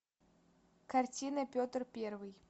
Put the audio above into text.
картина петр первый